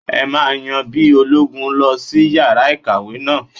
Ẹ máa yan bí ológun lọ sí yàrá ìkọ̀wé náà.